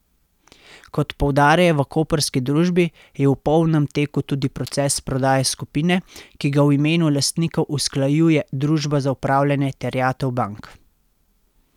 Kot poudarjajo v koprski družbi, je v polnem teku tudi proces prodaje skupine, ki ga v imenu lastnikov usklajuje Družba za upravljanje terjatev bank.